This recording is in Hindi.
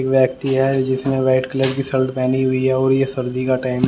एक व्यक्ति है जिसने व्हाइट कलर की शर्ट पहनी हुई है और ये सर्दी का टाइम है।